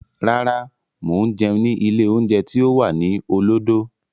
Rárá, mo ń jẹun ni ilé oúnjẹ tí ó wà ní olódó.